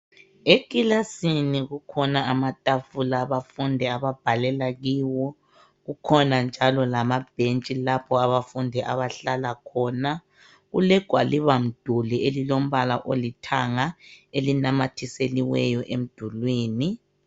Ekilasini kukhona amatafula abafundi ababhalela kiwo. Kukhona njalo lamabentshi lapho abafundi abahlala khona. Kulegwalibamduli elilombala olithanga elinamathiseliweyo emdulini. .